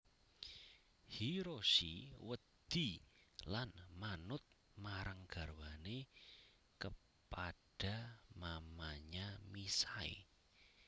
Hiroshi wedi lan manut marang garwane kepada mamanya misae